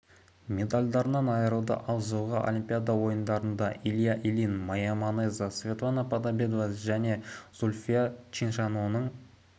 медальдарынан айырылды ал жылғы олимпиада ойындарында илья ильин майя манеза светлана подобедова және зүлфия чиншанлоның